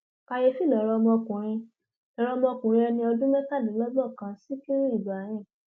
kàyééfì lọrọ ọmọkùnrin lọrọ ọmọkùnrin ẹni ọdún mẹtàdínlọgbọnkàn sikiru ibrahim